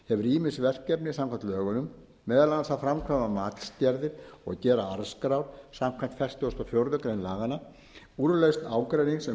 ýmis verkefni samkvæmt lögunum meðal annars að framkvæma matsgerðir og gera arðskráa samanber fertugustu og fjórðu grein laganna úrlausn ágreinings um